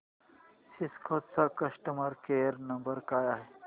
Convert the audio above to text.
Cisco चा customer care number काय आहे